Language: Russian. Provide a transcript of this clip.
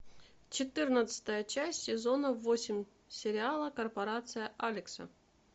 четырнадцатая часть сезона восемь сериала корпорация алекса